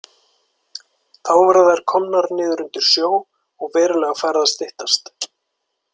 Þá voru þær komnar niður undir sjó og verulega farið að styttast.